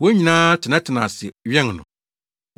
Wɔn nyinaa tenatenaa ase wɛn no.